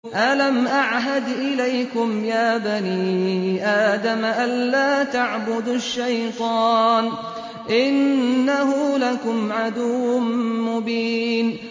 ۞ أَلَمْ أَعْهَدْ إِلَيْكُمْ يَا بَنِي آدَمَ أَن لَّا تَعْبُدُوا الشَّيْطَانَ ۖ إِنَّهُ لَكُمْ عَدُوٌّ مُّبِينٌ